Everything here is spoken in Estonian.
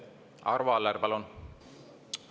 Arvo Aller, palun!